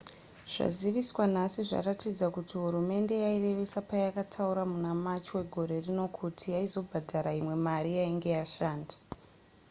zvaziviswa nhasi zvaratidza kuti hurumende yairevesa payakataura muna march wegore rino kuti yaizobhadhara imwe mari yainge yashanda